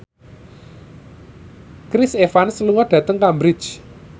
Chris Evans lunga dhateng Cambridge